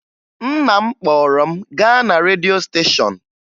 Nna m kpọrọ m gaa na redio steshọn